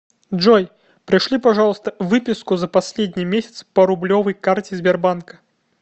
джой пришли пожалуйста выписку за последний месяц по рублевой карте сбербанка